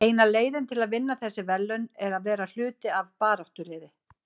Eina leiðin til að vinna þessi verðlaun er að vera hluti af baráttuliði.